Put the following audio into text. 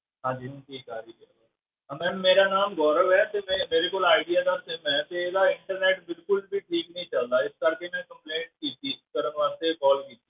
ਹਾਂਜੀ ਹੁਣ ਠੀਕ ਆ ਰਹੀ ਹੈ, ਅਹ ma'am ਮੇਰਾ ਨਾਮ ਗੋਰਵ ਹੈ ਤੇ ਮੈਂ ਮੇਰੇ ਕੋਲ ਆਇਡੀਆ ਦਾ sim ਹੈ ਤੇ ਇਹਦਾ internet ਬਿਲਕੁਲ ਵੀ ਠੀਕ ਨੀ ਚੱਲਦਾ, ਇਸ ਕਰਕੇ ਮੈਂ complaint ਕੀਤੀ ਕਰਨ ਵਾਸਤੇ call ਕੀਤੀ